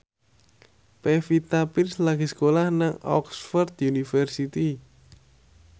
Pevita Pearce lagi sekolah nang Oxford university